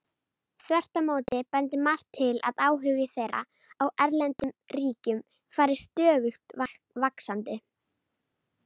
Þvert á móti bendir margt til að áhugi þeirra á erlendum ríkjum fari stöðugt vaxandi.